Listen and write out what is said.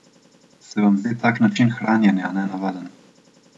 Se vam zdi tak način hranjenja nenavaden?